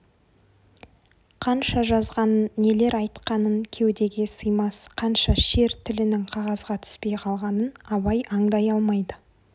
қанша жазғанын нелер айтқанын кеудеге сыймас қанша шер тілінің қағазға түспей қалғанын абай аңдай алмайды